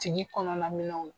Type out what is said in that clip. Tigi kɔnɔna minɛnw na.